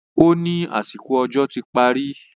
ó ní àsìkò òjò ti parí